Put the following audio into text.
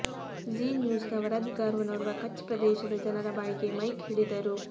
Zee ನ್ಯೂಸ್ನ ವರದಿಗಾರನೋರ್ವ ಕಚ್ ಪ್ರದೇಶದ ಜನರ ಬಾಯಿಗೆ ಮೈಕ್ ಹಿಡಿದರು